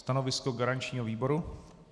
Stanovisko garančního výboru?